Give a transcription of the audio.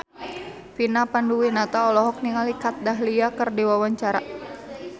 Vina Panduwinata olohok ningali Kat Dahlia keur diwawancara